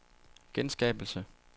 genskabelse